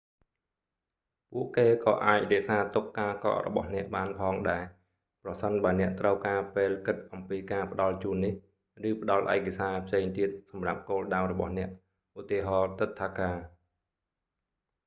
ពួកគេ​ក៏​អាច​រក្សា​ទុក​ការ​កក់​របស់​អ្នក​បាន​ផង​ដែរ​ ប្រសិន​បើ​អ្នក​ត្រូវ​ការ​ពេល​គិត​អំពី​ការ​ផ្ដល់​ជូននេះ​ ឬ​ផ្ដល់​ឯកសារ​ផ្សេង​ទៀត​សម្រាប់​គោលដៅ​របស់​អ្នក​ ឧ.ទា. ទិដ្ឋាការ​​។​